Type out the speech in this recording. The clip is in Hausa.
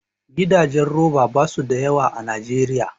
Gidajen roba basu da yawa a Najeriya